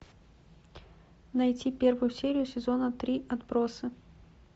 найти первую серию сезона три отбросы